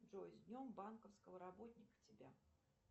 джой с днем банковского работника тебя